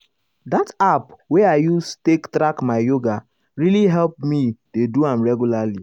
that app wey i use take track my yoga really help me dey do am regularly.